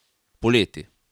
Poleti.